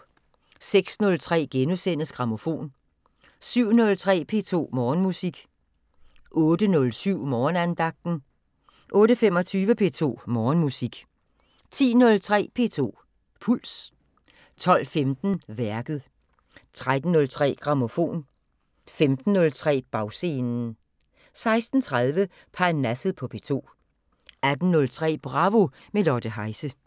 06:03: Grammofon * 07:03: P2 Morgenmusik 08:07: Morgenandagten 08:25: P2 Morgenmusik 10:03: P2 Puls 12:15: Værket 13:03: Grammofon 15:03: Bagscenen 16:30: Parnasset på P2 18:03: Bravo – med Lotte Heise